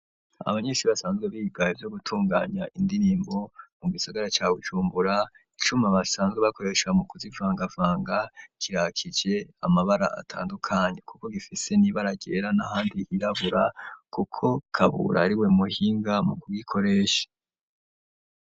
Abanyeshuri basanzwe biga ivyo gutunganya indirimbo mu gisagara ca Bujumbura icuma basanzwe bakoresha mu kuzivanga vanga kirakije amabara atandukanye kuko gifise n'ibara ryera n'ahandi hirabura kuko Kabura ariwe muhinga mu ku gikoresha.